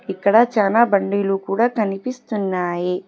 ఇక్కడ చాలా బండిలు కూడా కనిపిస్తున్నాయి.